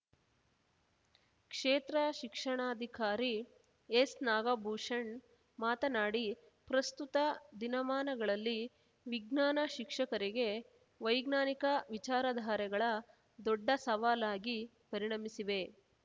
ಕ್ಷೇತ್ರ ಶಿಕ್ಷಣಾಧಿಕಾರಿ ಎಸ್‌ನಾಗಭೂಷಣ್‌ ಮಾತನಾಡಿ ಪ್ರಸ್ತುತ ದಿನಮಾನಗಳಲ್ಲಿ ವಿಜ್ಞಾನ ಶಿಕ್ಷಕರಿಗೆ ವೈಜ್ಞಾನಿಕ ವಿಚಾರಧಾರೆಗಳ ದೊಡ್ಡ ಸವಾಲಾಗಿ ಪರಿಣಮಿಸಿವೆ